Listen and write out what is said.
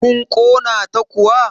kun Kona ta kuwa?